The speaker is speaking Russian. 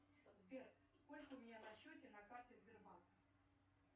сбер сколько у меня на счете на карте сбербанк